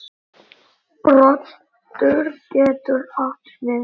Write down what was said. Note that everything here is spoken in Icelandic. Broddur getur átt við